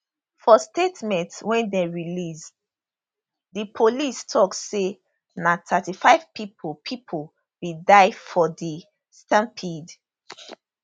for statement wey dem release di police tok say na 35 pipo pipo bin die for di stampede